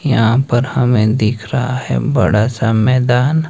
यहां पर हमे दिख रहा है बड़ा सा मैदान--